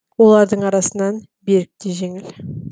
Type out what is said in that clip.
олардың арасынан берік те жеңіл